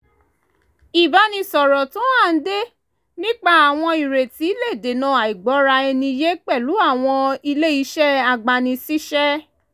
ìbánisọ̀rọ̀ tó hànde nípa àwọn ìrètí le dènà àìgbọ́ra-ẹni-yé pẹ̀lú àwọn ilé iṣẹ́ agbani-síṣẹ́